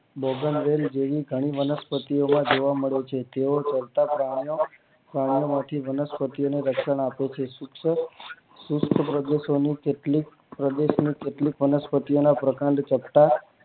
બગન વેલ જેવી ઘણી વનસ્પતિ ઓ માં જોવા મળે છે તેઓ પણ માંથી વનસ્પતિ ઓ ને રક્ષણ આપે છે આવા પ્રદેશો ની કેટલીક વનસ્પતિ ઓ ના પ્રકાંડ ટકતા